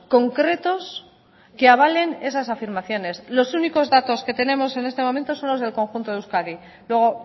concretos que avalen esas afirmaciones los únicos datos que tenemos en este momento son los del conjunto de euskadi luego